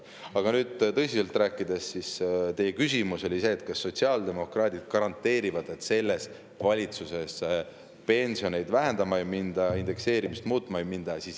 Aga nüüd, tõsiselt rääkides, teie küsimus oli see, kas sotsiaaldemokraadid garanteerivad, et selles valitsuses pensione vähendama ei minda, indekseerimist muutma ei minda.